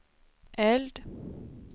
eld